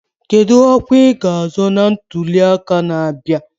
Kedu ọkwa i ga azọ na ntuli aka na-abịa?